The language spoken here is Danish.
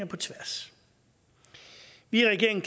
på tværs vi i regeringen